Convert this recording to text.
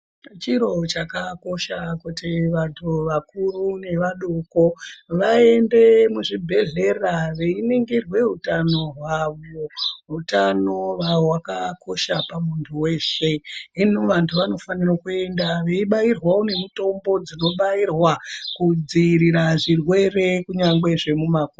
Chirochakakosha kuti vantu vakuru nevadoko vaende muzvibhedhlera veinongirwe utano hwavo. Utano hwavakakosha pamuntu veshe. Hino vantu vanofanira kuenda veibairwavo nemutombo dzino bairwa kudzivirira zvirwere kunyangwe zvemuma kumbo.